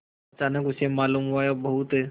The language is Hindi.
अचानक उसे मालूम हुआ कि बहुत